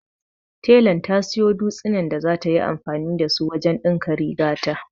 Telan ta siyo dutsinan da zata yi anfani da su wajen ɗinka rigata.